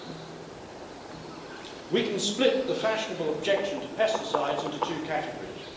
Mr President, we can split the fashionable objection to pesticides into two categories.